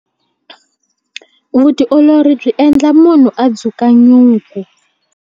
Vutiolori byi endla munhu a dzuka nyuku.